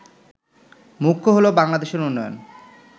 মুখ্য হল বাংলাদেশের উন্নয়ন